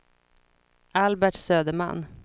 Albert Söderman